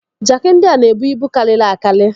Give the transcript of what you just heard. Jaaki ndị a na-ebu ibu karịrị akari.